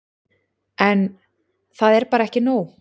En. það er bara ekki nóg.